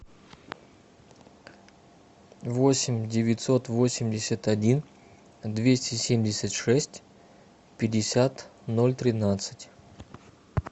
восемь девятьсот восемьдесят один двести семьдесят шесть пятьдесят ноль тринадцать